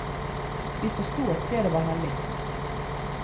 Vi forsto at stedet var hellig.